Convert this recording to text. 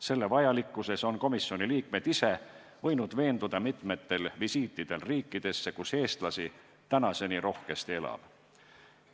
Selle vajalikkuses on komisjoni liikmed ise võinud veenduda mitmetel visiitidel riikidesse, kus eestlasi tänaseni rohkesti elab.